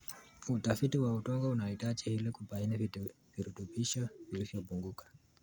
Utafiti wa udongo unahitajika ili kubaini virutubisho vilivyopunguka.